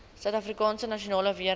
suidafrikaanse nasionale weermag